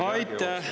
Aitäh!